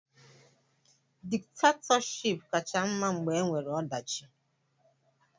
Diktatọship kacha mma mgbe e nwere ọdachi.